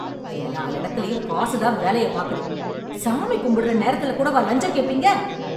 எல்லா எடத்துலயும் காசுதான் வேலய பாக்குது... சாமி கும்பிடற நேரத்துல கூடவா லஞ்சம் கேப்பீங்க?